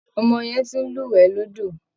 Ọmọ yẹn ti ń lúwẹ̀ẹ́ lódò